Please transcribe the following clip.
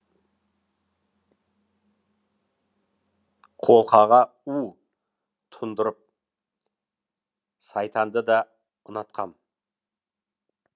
қолқаға у тұндырып сайтанды да ұнатқам